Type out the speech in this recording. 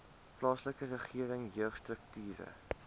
plaaslike regering jeugstrukture